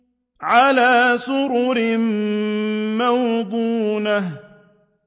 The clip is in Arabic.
عَلَىٰ سُرُرٍ مَّوْضُونَةٍ